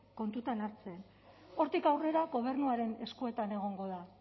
kontutan hartzen hortik aurrera gobernuaren eskuetan egongo da